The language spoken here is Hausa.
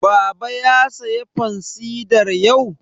Baba ya saya fansidar yau?